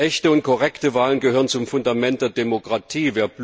Echte und korrekte Wahlen gehören zum Fundament der Demokratie.